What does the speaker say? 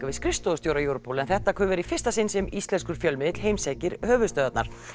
við skrifstofustjóra Europol en þetta er í fyrsta sinn sem íslenskur fjölmiðill heimsækir höfuðstöðvar